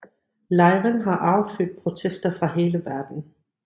Lejren har affødt protester fra hele verden